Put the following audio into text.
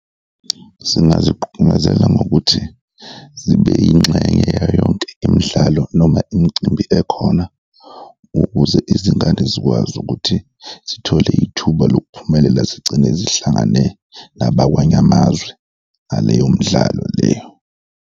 Singazigqungazela ngokuthi zibe yingxenye ya yonke imidlalo noma imicimbi ekhona ukuze izingane zikwazi ukuthi zithole ithuba lokuphumelela, zigcine zihlangane nabakwanye amazwe ngaleyo midlalo leyo.